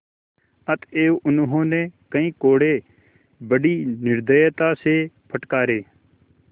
अतएव उन्होंने कई कोडे़ बड़ी निर्दयता से फटकारे